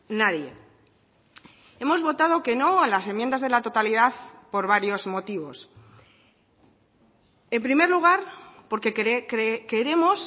nadie hemos votado que no a las enmiendas de la totalidad por varios motivos en primer lugar porque queremos